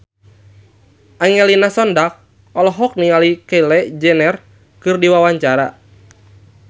Angelina Sondakh olohok ningali Kylie Jenner keur diwawancara